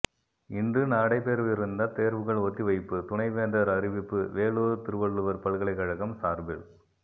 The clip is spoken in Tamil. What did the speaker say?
இன்று நடைபெறவிருந்த தேர்வுகள் ஒத்தி வைப்பு துணைவேந்தர் அறிவிப்பு வேலூர் திருவள்ளுவர் பல்கலைக்கழகம் சார்பில்